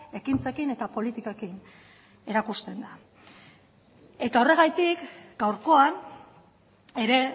ekintzekin eta politikekin erakusten da eta horregatik gaurkoan ere